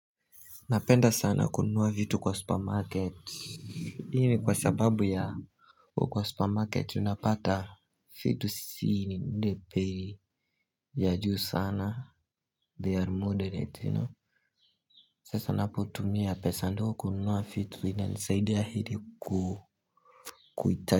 Napenda sana kunua vitu kwa supermarket Hii ni kwa sababu ya u kwa supermarket tunapata vitu si ile bei ya juu sana they are moderate Sasa napotumia pesa ndio kununua vitu inanisaidia ili kuita.